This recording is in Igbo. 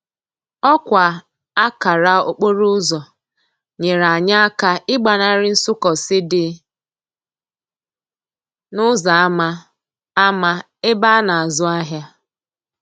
Òkwa akara okporoúzò nyere anyi aka igbanari nsúkósi di n'úzò ama ama ebe a na azú ahia.